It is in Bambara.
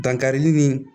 Dankarili ni